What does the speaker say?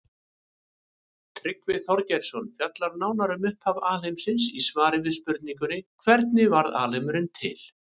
Tryggvi Þorgeirsson fjallar nánar um upphaf alheimsins í svari við spurningunni Hvernig varð alheimurinn til?